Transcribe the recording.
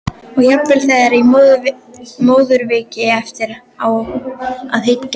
Og jafnvel þegar í móðurkviði- eftir á að hyggja.